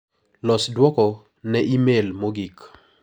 Los duoko ne imel mogik.